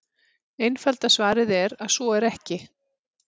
Einfalda svarið er að svo er ekki.